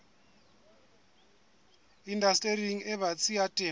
indastering e batsi ya temo